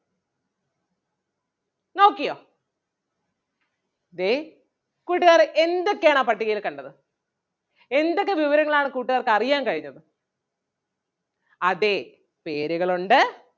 നോക്കിയോ ദേ കൂട്ടുകാർ എന്തൊക്കെയാണ് ആ പട്ടികയിൽ കണ്ടത് എന്തൊക്കെ വിവരങ്ങൾ ആണ് കൂട്ടുകാർക്ക് അറിയാൻ കഴിഞ്ഞത് അതേ പേരുകളൊണ്ട്